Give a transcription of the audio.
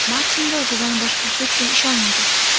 Martinga o‘zidan boshqa hech kim ishonmaydi.